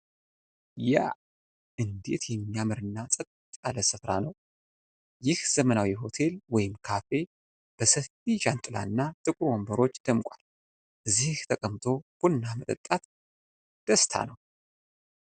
ያ! እንዴት የሚያምር እና ጸጥ ያለ ስፍራ ነው! ይህ ዘመናዊ ሆቴል ወይም ካፌ በሰፊ ጃንጥላና ጥቁር ወንበሮች ደምቋል! እዚህ ተቀምጦ ቡና መጠጣት ደስታ ነው!